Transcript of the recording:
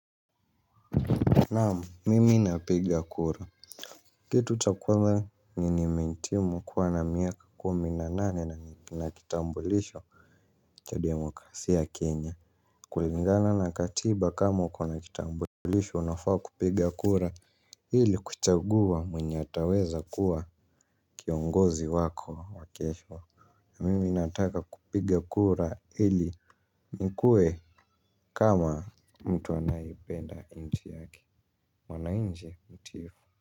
Naam, mimi napiga kura. Kitu cha kwanza nimehitimu kuwa na miaka kumi na nane na kitambulisho cha demokrasia ya kenya kulingana na katiba kama uko na kitambulisho unafaa kupiga kura hili kuchagua mwenye ataweza kuwa kiongozi wako wa kesho. Na mimi nataka kupiga kura ili nikuwe kama mtu anayependa nchi yake mwananchi mtiifu.